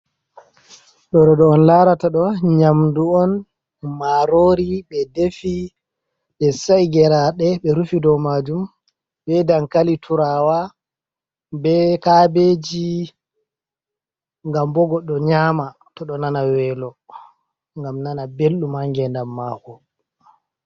Ɗooɗo on laarata ɗo nyaamndu on maaroori, ɓe defi, ɓe sa´i geraaɗe ɓe rufi dow maajum be dankali tuuraawa, be kaabeeji ngam goɗɗo nyaama to ɗo nana weelo, ngam nana belɗum haa ngeendam maako.